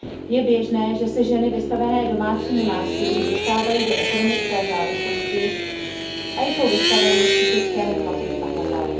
Je běžné, že se ženy vystavené domácímu násilí dostávají do ekonomické závislosti a jsou vystaveny psychickému tlaku pachatele.